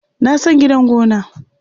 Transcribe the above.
Na san gidan gona.